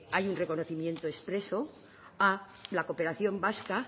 hay un reconocimiento expreso a la cooperación vasca